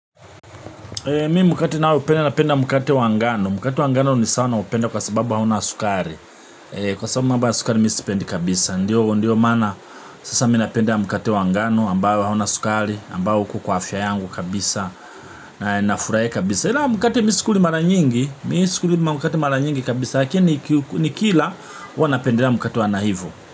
Mimi mkate naoupenda napenda mkate wa ngano. Mkate wa ngano ni sawa naupenda kwa sababu hauna sukari. Kwa sababu mambo ya sukari mi sipendi kabisa. Ndiyo maana sasa mi napenda mkate wa ngano ambao hauna sukari, ambao uko kwa afya yangu kabisa na nafurahia kabisa. Mkate mimi sikuli mara nyingi, mimi sikuli mkate mara nyingi kabisa. Lakini nikila huwa napendea mkate wanahivu.